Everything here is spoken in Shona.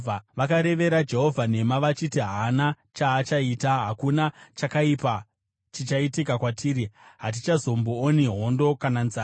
Vakarevera Jehovha nhema, vachiti, “Haana chaachaita! Hakuna chakaipa chichaitika kwatiri; hatichazombooni hondo kana nzara.